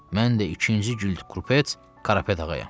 Mən də ikinci Gülkupets Qarapet ağayam.